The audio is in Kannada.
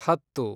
ಹತ್ತು